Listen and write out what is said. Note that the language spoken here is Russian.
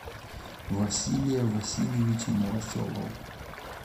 василия васильевича новоселова